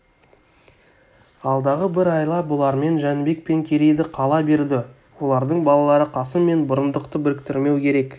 алдағы бір айла бұлармен жәнібек пен керейді қала берді олардың балалары қасым мен бұрындықты біріктірмеу керек